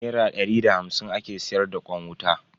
Nera dari da hamsin ake siyar da kwan wuta.